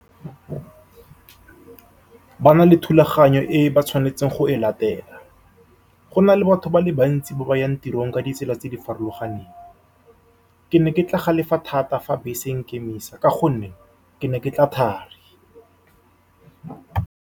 Ba na le thulaganyo e ba tshwanetseng go e latela, gona le batho ba le bantsi ba ba yang tirong ka ditsela tse di farologaneng. Ke ne ke tla galefa thata fa bese e nkemisa, ka gonne ke ne ke tla thari.